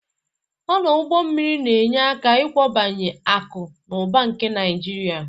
Ọdọ ụgbọ mmiri na-enye aka ịbawanye akụ na ụba nke Naịjirịa.